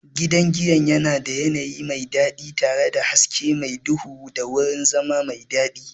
Gidan giyan yana da yanayi mai daɗi tare da hasken mar duhu da wurin zama mai daɗi.